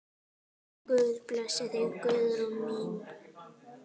Guð blessi þig, Guðrún mín.